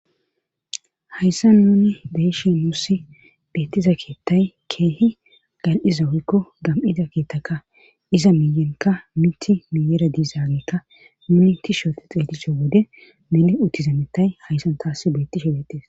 hayssan nuni beeshe muussi beettiza keettay keehi gal7iza woykko gam7ida keettaka iza miyenkka miti miyera diizaagekka nuni ti shote xeedisho wode mili uttizamettay hayssan taassi beetti shebetis